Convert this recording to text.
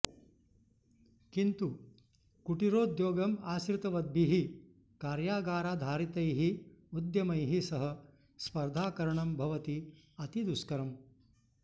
किन्तु कुटीरोद्योगम् आश्रितवद्भिः कार्यागाराधारितैः उद्यमैः सह स्पर्धाकरणं भवति अति दुष्करम्